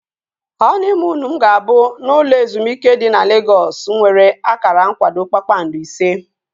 Họniimuunu m ga-abụ n'ụlọ ezumike dị na Legọs nwere akara nkwado kpakpando ise